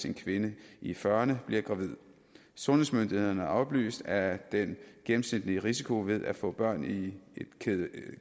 en kvinde i fyrrerne bliver gravid sundhedsmyndighederne har oplyst at den gennemsnitlige risiko ved at få børn i et